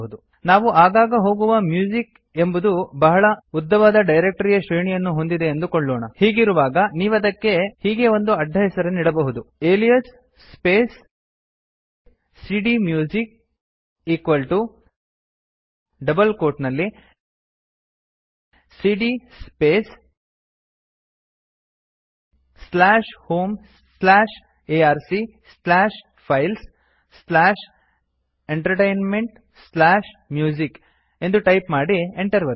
ನಾವು ಆಗಾಗ ಹೋಗುವ ಮ್ಯೂಸಿಕ್ ಎಂಬುದು ಬಹಳ ಉದ್ದವಾದ ಡೈರಕ್ತರಿಯ ಶ್ರೇಣಿಯನ್ನು ಹೊಂದಿದೆ ಎಂದುಕೊಳ್ಳೋಣ ಹೀಗಿರುವಾಗ ನೀವದಕ್ಕೆ ಹೀಗೆ ಒಂದು ಅಡ್ಡಹೆಸರನ್ನಿಡಬಹುದು alias space cdmusic equal to double quote ನಲ್ಲಿ ಸಿಡಿಯ space slash home slash ark slash files slash entertainment slash music ಎಂದು ಟೈಪ್ ಮಾಡಿ Enter ಒತ್ತಿ